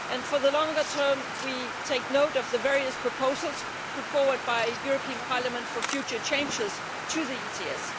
For the longer term, we take note of the various proposals put forward by the European Parliament for future changes to the ETS.